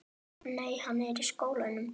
Nei, hann er í skóla.